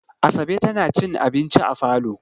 Asabe tana cin abinci a falo.